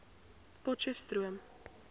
potcheftsroom